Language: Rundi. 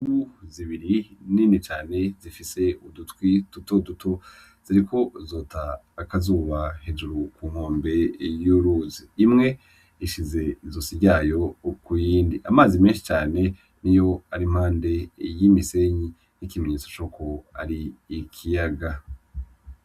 Imvubu zibiri nini cane zifise udutwi dutoduto ziriko zota akazuba hejuru ku nkombe y'uruzi, imwe ishize izosi ryayo kuyindi. Amazi menshi cane niyo ari impande y'imisenyi nk'ikimenyetso cuko ari ikiyaga.